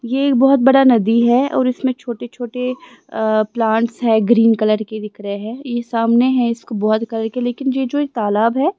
ये बहुत बड़ा नदी है और इसमें छोटे-छोटे प्लांट्स है ग्रीन कलर के दिख रहे हैंये सामने है इसको बहुत कलर के लेकिन ये जो एक तालाब है।